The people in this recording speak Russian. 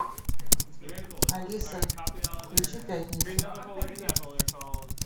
алиса включи пятницу